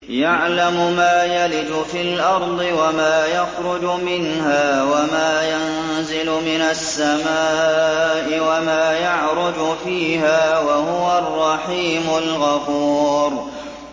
يَعْلَمُ مَا يَلِجُ فِي الْأَرْضِ وَمَا يَخْرُجُ مِنْهَا وَمَا يَنزِلُ مِنَ السَّمَاءِ وَمَا يَعْرُجُ فِيهَا ۚ وَهُوَ الرَّحِيمُ الْغَفُورُ